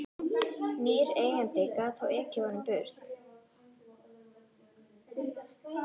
Nýr eigandi gat þá ekið honum burt.